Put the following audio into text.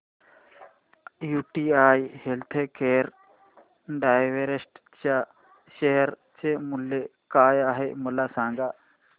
UTI healthcare direct च्या share चे मूल्य काय आहे मला सांगा